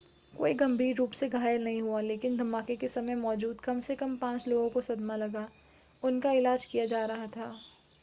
कोई गंभीर रूप से घायल नहीं हुआ लेकिन धमाके के समय मौजूद कम से कम पांच लोगों को सदमा लगा उनका इलाज किया जा रहा था